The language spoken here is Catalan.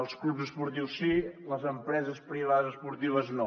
els clubs esportius sí les empreses privades esportives no